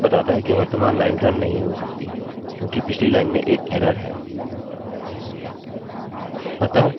यह सामान्यतः यह बताता है कि वर्तमान लाइन रन नहीं हो सकती क्योंकि पिछली लाइन में एक एररerror है